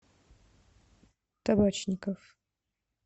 табачников